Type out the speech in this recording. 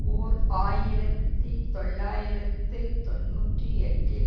ஓர் ஆயிரத்தி தொள்ளாயிரத்து தொன்னூற்றி எட்டில்